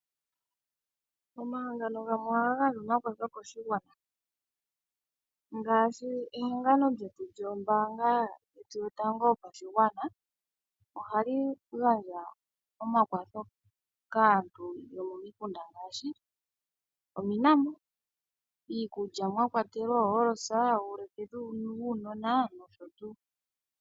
Omahangano gamwe ohaga gandja omakwatho koshigwana ngaashi ehangano lyetu lyombaanga yotango yopashigwana ohali gandja kaantu yo momikunda ngaashi ominambo, iikulya mwakwatelwa ooholosa nosho tuu.